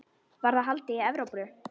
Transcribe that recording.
Var það í Evrópu?